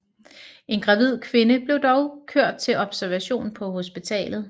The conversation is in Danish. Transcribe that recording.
En gravid kvinde blev dog kørt til observation på hospitalet